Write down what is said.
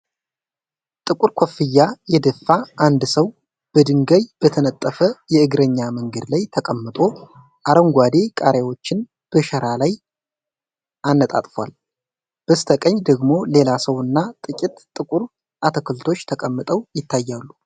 ጥቁር ኮፍያ የደፋ አንድ ሰው በድንጋይ በተነጠፈ የእግረኛ መንገድ ላይ ተቀምጦ አረንጓዴ ቃሪያዎችን በሸራ ላይ አነጣጥፏል። በስተቀኝ ደግሞ ሌላ ሰው እና ጥቂት ጥቁር አትክልቶች ተቀምጠው ይታያሉ።